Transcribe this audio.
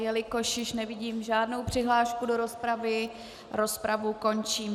Jelikož již nevidím žádnou přihlášku do rozpravy, rozpravu končím.